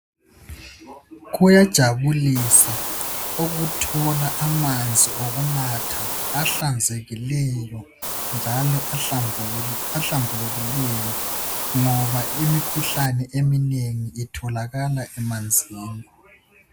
kuyajabulisa ukuthola amanzi okunatha ahlanzekileyo njalo ahlambulukileyo ngoba imikhuhlane eminengi itholakala emanzini